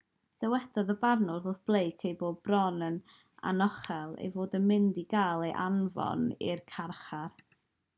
dywedodd y barnwr wrth blake ei bod bron yn anochel ei fod yn mynd i gael ei anfon i'r carchar